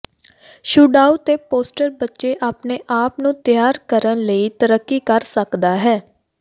ਛੁਡਾਊ ਤੇ ਪੋਸਟਰ ਬੱਚੇ ਆਪਣੇ ਆਪ ਨੂੰ ਤਿਆਰ ਕਰਨ ਲਈ ਤਰੱਕੀ ਕਰ ਸਕਦਾ ਹੈ